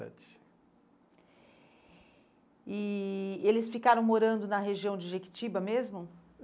E eles ficaram morando na região de Jequitiba mesmo?